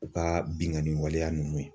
U ka bingani waleya ninnu